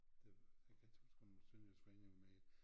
Det jeg kan ikke huske om sønderjysk forening var med